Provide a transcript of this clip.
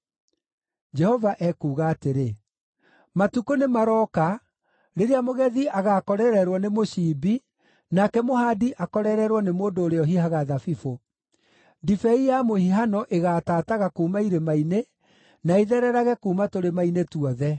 Jehova ekuuga atĩrĩ, “Matukũ nĩmarooka, “rĩrĩa mũgethi agaakorererwo nĩ mũciimbi, nake mũhaandi akorererwo nĩ mũndũ ũrĩa ũhihaga thabibũ. Ndibei ya mũhihano ĩgaatataga kuuma irĩma-inĩ, na ĩthererage kuuma tũrĩma-inĩ tuothe.